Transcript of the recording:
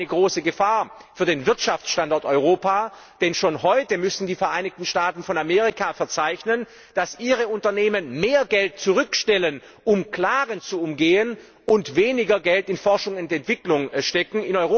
Das wäre aber eine große Gefahr für den Wirtschaftsstandort Europa, denn schon heute müssen die Vereinigten Staaten von Amerika verzeichnen, dass ihre Unternehmen mehr Geld zurückstellen, um Klagen zu umgehen, und weniger Geld in Forschung und Entwicklung stecken.